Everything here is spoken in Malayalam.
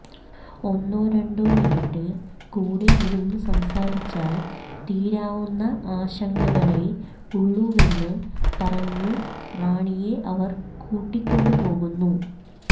ഒന്നോ രണ്ടോ മിനിറ്റ് കൂടെ ഇരുന്ന് സംസാരിച്ചാൽ തീരാവുന്ന ആശങ്കകളെ ഉള്ളൂവെന്ന് പറഞ്ഞു റാണിയെ അവർ കൂട്ടിക്കൊണ്ടുപോകുന്നു